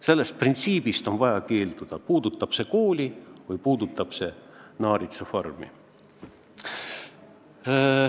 Sellisest printsiibist on vaja keelduda, puudutab see siis kooli või naaritsafarmi.